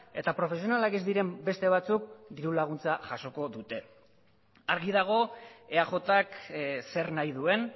eta profesionalak ez diren beste batzuk diru laguntza jasoko dute argi dago eajk zer nahi duen